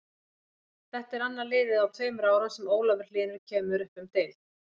Þetta er annað liðið á tveimur árum sem Ólafur Hlynur kemur upp um deild.